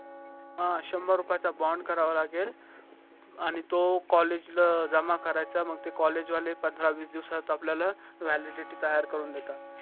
हान शंभर रुपयाचा bond करावा लागेल आणि तो college जमा करायचा मंग college वाले पंधरा वीस दिवसात आपल्या validity तयार करून देतात